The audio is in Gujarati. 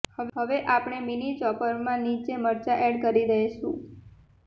હવે આપણે મીની ચોપરમા નીચે મરચા એડ કરી દેઈશું